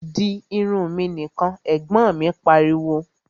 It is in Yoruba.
Di irun mi nìkan! Ẹ̀gbọ́n mi pariwo